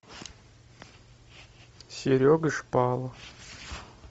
серега шпалов